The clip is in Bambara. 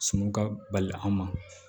Sumanw ka bali an ma